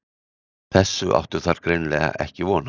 Þessu áttu þær greinilega ekki von á.